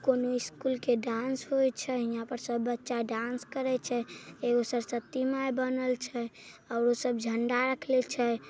कोनो स्कूल के डांस होइ छे। हियां पर सब बच्चा डांस करई छे। एगो सरस्वती माए बनल छे और वो सब झंडा रखले छे।